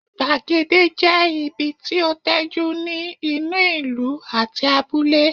Gbàgede jẹ́ ibi tí ó tẹ́jú ní inú ìlú àti abúlé